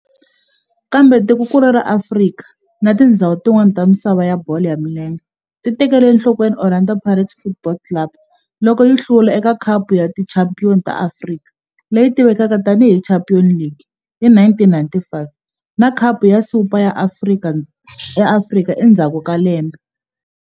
Kambe tikonkulu ra Afrika na tindzhawu tin'wana ta misava ya bolo ya milenge ti tekele enhlokweni Orlando Pirates Football Club loko yi hlula eka Khapu ya Tichampion ta Afrika leyi tivekaka tani hi Champions League hi 1995 na Khapu ya Super ya Afrika endzhaku ka lembe.